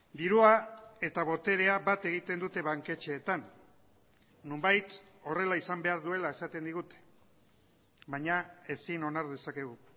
dirua eta boterea bat egiten dute banketxeetan nonbait horrela izan behar duela esaten digute baina ezin onar dezakegu